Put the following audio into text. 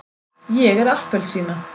ég er appelsína.